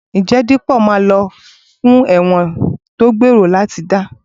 Ǹjẹ́ Dípọ̀ máa lọ ẹ̀wọ̀n fún ọ̀ràn tó gbèrò lọ́kàn láti dá?